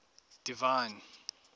divine